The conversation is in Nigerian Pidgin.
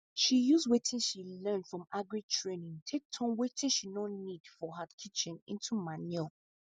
she use watin she learn from agri training take turn watin she no need for her kitchen into manure